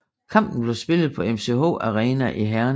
Kampen blev spillet på MCH Arena i Herning